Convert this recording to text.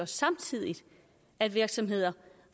samtidig at virksomheder